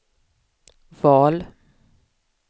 val